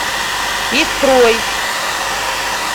истрой